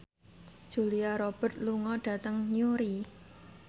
Julia Robert lunga dhateng Newry